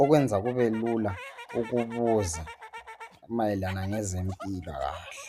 okwenza kubelula ukubuza mayelana ngezempilakahle.